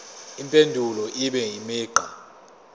impendulo ibe imigqa